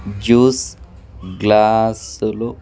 Juice గ్లాసు లు.